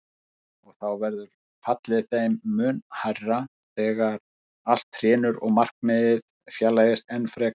Og þá verður fallið þeim mun hærra þegar allt hrynur og markmiðið fjarlægist enn frekar.